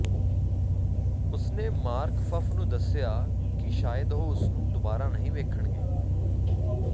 ਉਸ ਨੇ ਮਾਰਕਫੱਫ ਨੂੰ ਦੱਸਿਆ ਕਿ ਸ਼ਾਇਦ ਉਹ ਉਸਨੂੰ ਦੁਬਾਰਾ ਨਹੀਂ ਵੇਖਣਗੇ